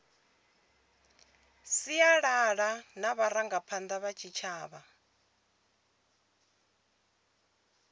sialala na vharangaphanda vha tshitshavha